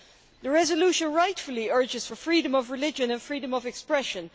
The resolution rightly urges freedom of religion and freedom of expression.